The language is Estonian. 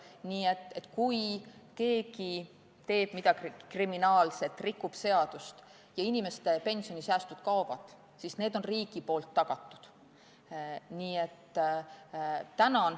Nii et kui keegi teeb midagi kriminaalset, rikub seadust ja inimeste pensionisäästud ka kaovad, siis need on riigi poolt tagatud.